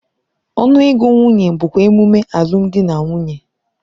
Ọnụ ego nwunye bụkwa emume alụmdi na nwunye.